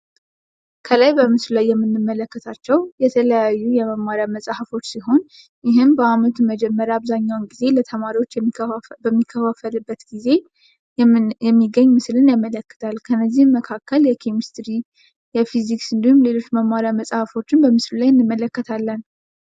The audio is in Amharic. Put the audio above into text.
ከላይ በምስሉ ላይ የምንመለከታቸው የተለያዩ የመማርያ መፅሀፎች ሲሆን ይህም በአመቱ በመጀመርያ አብዛኛውን ጊዜ ለተማሪዎች በሚከፋፈብበት ጊዜ የሚገኝ ምስልን ያመለክታል። ከነዚህም መካከል የኬሚስትሪ የፊዚክስ እንዲሁም ሌሎች መማርያ መፅሀፎችን በምስሉ ላይ እንመለከታለን።